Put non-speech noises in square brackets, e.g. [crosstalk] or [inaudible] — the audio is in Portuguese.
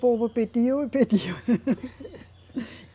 O povo pediu e pediu. [laughs]